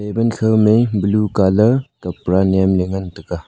table khomey blue colour kapda nyemley ngantaga.